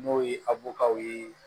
N'o ye ye